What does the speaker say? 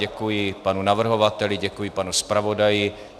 Děkuji panu navrhovateli, děkuji panu zpravodaji.